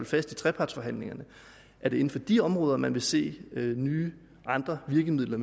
fast i trepartsforhandlingerne er det inden for de områder man vil se nye andre virkemidler